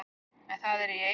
en það er í eigu